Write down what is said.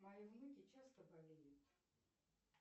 мои внуки часто болеют